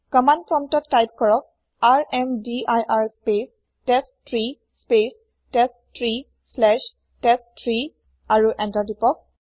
command প্ৰম্পতত type কৰক ৰ্মদিৰ স্পেচ টেষ্টট্ৰী স্পেচ টেষ্টট্ৰী শ্লেচ টেষ্ট3 আৰু এন্তাৰ তিপক